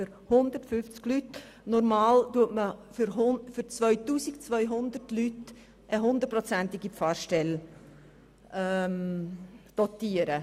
Normalerweise sieht man für 2200 Leute eine volle Pfarrstelle vor.